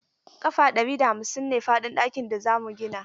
Ƙafa ɗari da hamsin ne faɗin ɗakin da za mu gina.